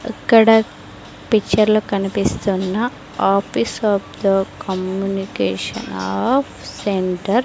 అక్కడ పిక్చర్ లో కనిపిస్తున్న office of the communication of centre --